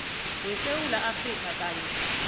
wesewula afrika kanye